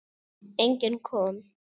Enginn kom.